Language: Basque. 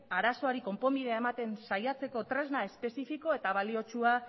arazoari konponbidea ematen saiatzeko tresna espezifiko eta baliotsua